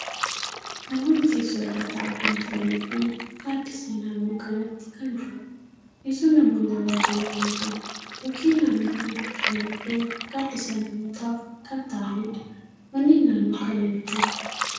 Namootni teessoo irra taa'aa kan jiranii fi gaaddisni naannoo kanatti kan jiruudha. Teesson namootni irra hin teenye ni jiru. Mukkeen naannoo kana kan jiranii fi gaaddisa namootaf kan ta'aniidha. Manneen naannoo kana ni jiru.